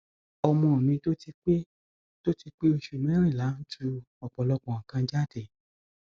ọmọ mi tó ti pé tó ti pé òṣù merìnlá ń tú ọpọlọpọ nǹkan jáde